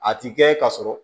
A ti kɛ ka sɔrɔ